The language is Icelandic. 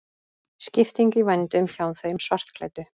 Skipting í vændum hjá þeim svartklæddu.